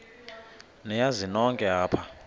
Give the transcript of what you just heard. niyazi nonk apha